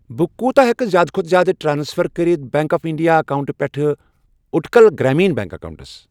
بہٕ کوٗتہ ہٮ۪کہٕ زِیٛادٕ کھوتہٕ زِیٛادٕ ٹرانسفر کٔرِتھ بیٚنٛک آف انٛڈیا اکاونٹہٕ پٮ۪ٹھٕ اُٹکَل گرٛامیٖن بیٚنٛک اکاونٹَس۔